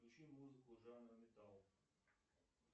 включи музыку жанра металл